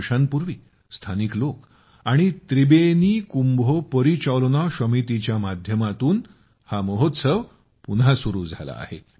दोन वर्षांपूर्वी स्थानिक लोक आणि त्रिबेनी कुंभो पॉरिचालोना शॉमितीच्या माध्यमातून हा महोत्सव पुन्हा सुरू झाला आहे